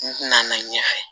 N nana ɲɛfɛ